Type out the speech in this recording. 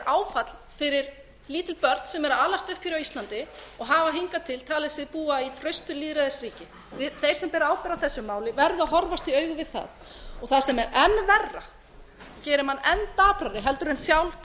áfall fyrir lítil börn sem eru að alast upp á íslandi og hafa hingað til talið sig búa í traustu lýðræðisríki þeir sem bera ábyrgð á þessu máli verða að horfast í augu við það og það sem er enn verra gerir mann enn daprari en sjálft